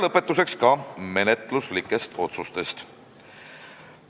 Lõpetuseks ka menetluslikest otsustest.